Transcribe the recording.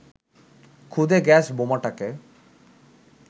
খুদে গ্যাস বোমাটাকে